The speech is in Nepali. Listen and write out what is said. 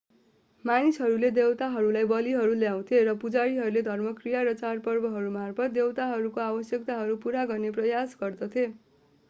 मानिसहरूले देवताहरूलाई बलिहरू ल्याउँथे र पुजारीहरूले धर्मक्रिया र चाडपर्वहरूमार्फत् देवताहरूको आवश्यकताहरू पूरा गर्ने प्रयास गर्दथे